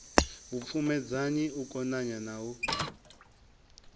vhupfumedzani u konanya na u